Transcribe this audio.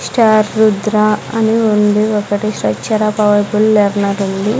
రుద్ర అని ఉంది ఒకటి స్ట్రక్చర్ ఆ పవర్ పుల్ లెర్నరుంది .